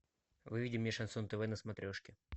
выведи мне шансон тв на смотрешке